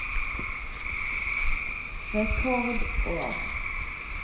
rekordår